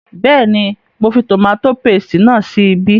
Bẹ́ẹ̀ni, mo fi tòmátò paste náà sí ibí